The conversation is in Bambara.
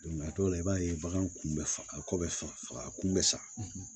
a dɔw la i b'a ye baganw kun bɛ faga ko bɛ faga a kun bɛ sa